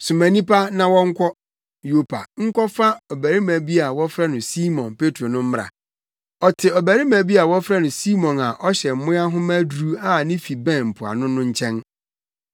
Soma nnipa na wɔnkɔ Yopa nkɔfa ɔbarima bi a wɔfrɛ no Simon Petro no mmra. Ɔte ɔbarima bi a wɔfrɛ no Simon a ɔhyɛ mmoa nhoma aduru a ne fi bɛn mpoano no nkyɛn.’